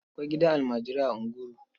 Akwai gidan almajirai a Nguru.